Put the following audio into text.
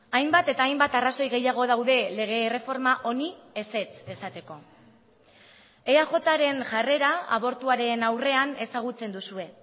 hainbat eta hainbat arrazoi gehiago daude lege erreforma honi ezetz esateko eajren jarrera abortuaren aurrean ezagutzen duzue